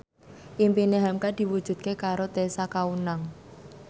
impine hamka diwujudke karo Tessa Kaunang